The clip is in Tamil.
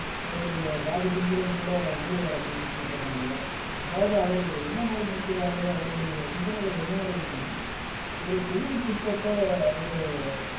அவருடைய ஜாதி பின்புலம் கூட முதலியார் அப்படின்னு சொல்லப்படுறாங்க அதாவது அவரு என்ன மாதிரி நினைக்கிறாரு அவருடைய சிந்தனைகள் என்ன மாதிரி இருக்குன்னா ஒரு தொகுதிக்கு உட்பட்ட ஒரு